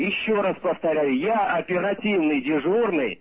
ещё раз повторяю я оперативный дежурный